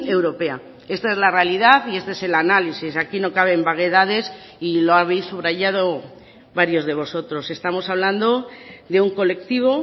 europea esta es la realidad y este es el análisis aquí no caben vaguedades y lo habéis subrayado varios de vosotros estamos hablando de un colectivo